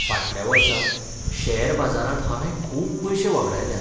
फाटल्या वर्सा शेअर बाजारांत हांवें खूब पयशे वगडायल्यात.